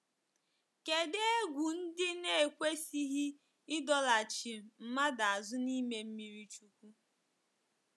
Kedụ egwu ndị na-ekwesịghị ịdọlachi mmadụ azụ n’ime mmiri chukwu?